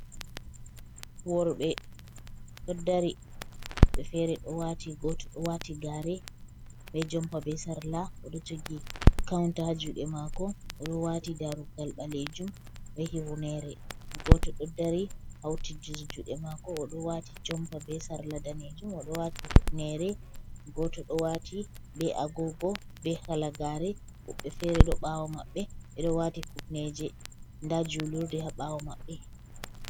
Worɓe ɗo dari, woɓɓe feere ɗo waati, gooto ɗo waati gaare, be jompa, be sarla, o ɗo jogi kawunta haa juuɗe maako, o ɗo waati daarugal ɓaleejum be hifneere. Gooto ɗo dari hawtindiri juuɗe maako, o ɗo waati jompa be sarla daneejum, o ɗo waati hufneere. Gooto ɗo waati be agoogo be halagaare. Woɓɓe feere ɗo ɓaawo maɓɓe ɓe ɗo waati kufneeje, ndaa juulurde haa ɓaawo maɓɓe.